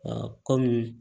kɔmi